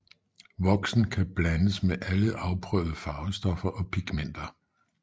Voksen kan blandes med alle afprøvede farvestoffer og pigmenter